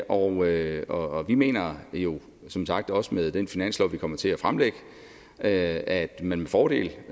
og vi mener jo som sagt også med den finanslov vi kommer til at fremsætte at man med fordel